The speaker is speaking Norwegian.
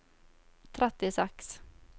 trettiseks